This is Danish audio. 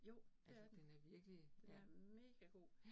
Jo, det er den. Den er megagod